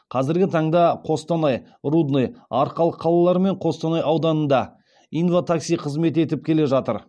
қазіргі таңда қостанай рудный арқалық қалалары мен қостанай ауданында инва такси қызмет етіп келе жатыр